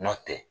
Nɔntɛ